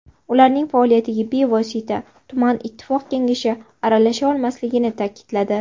Ularning faoliyatiga bevosita tuman ittifoq kengashi aralasha olmasligini ta’kidladi.